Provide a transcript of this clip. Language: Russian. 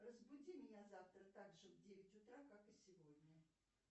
разбуди меня завтра также в девять утра как и сегодня